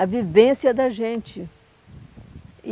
A vivência da gente. E